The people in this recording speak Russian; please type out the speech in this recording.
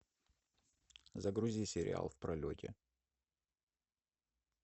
загрузи сериал в пролете